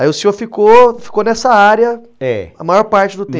Aí o senhor ficou, ficou nessa área a maior parte do tempo.